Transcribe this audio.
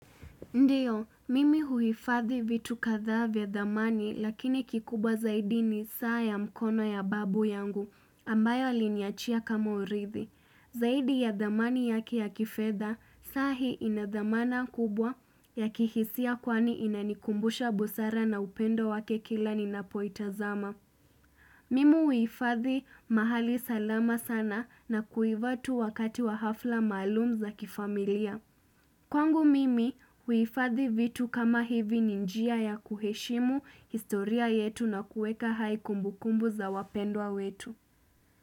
Ndiyo, mimi huifadhi vitu kadhaa vya dhamani, lakini kikubwa zaidi ni saa ya mkono ya babu yangu. Ambayo aliniachia kama urithi. Zaidi ya dhamani yake ya kifedha, saa hii ina dhamana kubwa ya kihisia kwani ina nikumbusha busara na upendo wake kila ninapoitazama. Mimi huifadhi mahali salama sana na kuivaa tu wakati wa hafla maluum za kifamilia. Kwangu mimi huifadhi vitu kama hivi ni njia ya kuheshimu, historia yetu na kuweka hai kumbukumbu za wapendwa wetu.